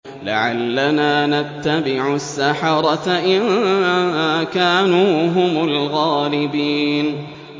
لَعَلَّنَا نَتَّبِعُ السَّحَرَةَ إِن كَانُوا هُمُ الْغَالِبِينَ